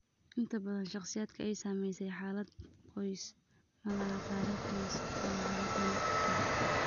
Inta badan, shakhsiyaadka ay saamaysay xaalad qoys ma laha taariikh qoys oo xaaladdan ah.